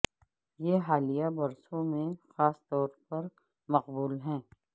یہ حالیہ برسوں میں خاص طور پر مقبول ہے